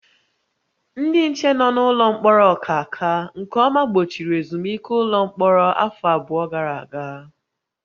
Ndị nche nọ n'ụlọ mkpọrọ Ọkaka nke ọma gbochiri ezumike ụlọ mkpọrọ afọ abụọ gara aga